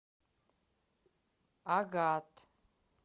агат